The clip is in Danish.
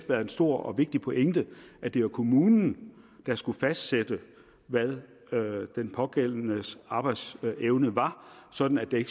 været en stor og vigtig pointe at det var kommunen der skulle fastsætte hvad den pågældendes arbejdsevne var sådan at der